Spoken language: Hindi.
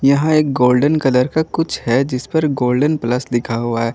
यहां एक गोल्डन कलर का कुछ है जिस पर गोल्डन प्लस लिखा हुआ है।